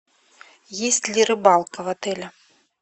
есть ли рыбалка в отеле